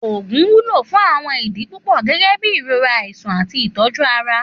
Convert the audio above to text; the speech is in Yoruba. Òògùn wúlò fún àwọn idi pupọ gẹgẹbi irora, aisan ati ìtọ̀ju Ara.